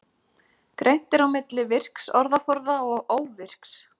Greint er á milli virks orðaforða og óvirks.